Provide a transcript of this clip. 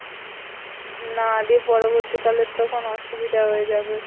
না দিয়ে পরবর্তীকালে তখন অসুবিধা হয়ে যাবে।